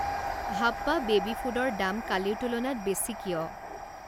হাপ্পা baby ফুডৰ দাম কালিৰ তুলনাত বেছি কিয়?